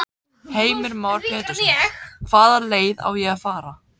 Heimir Már Pétursson: Hvaða leið á að fara?